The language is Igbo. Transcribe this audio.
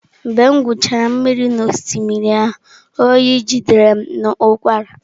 Mgbe m gwuchara mmiri n’osimiri ahụ, oyi jidere m na ụkwara.